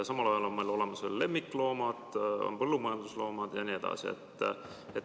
Samal ajal on meil olemas veel lemmikloomad, põllumajandusloomad jne.